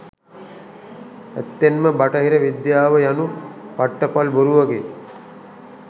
ඇත්තෙන්ම බටහිර විද්‍යාව යනු පට්ටපල් බොරුවකි.